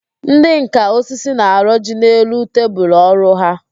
Ndị nká osisi na-arọji n'elu tebulu ọrụ ha